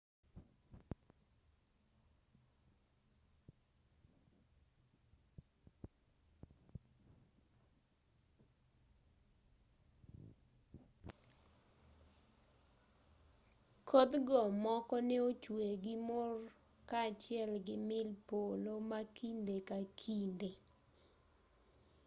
kodhgo moko ne ochwe gi mor kaachiel gi mil polo ma kinde ka kinde